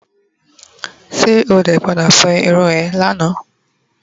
se ode pada fo irun eee Lana?